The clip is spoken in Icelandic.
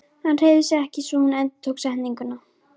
Hann hreyfði sig ekki svo hún endurtók setninguna.